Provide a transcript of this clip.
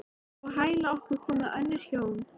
Á hæla okkar komu önnur hjón.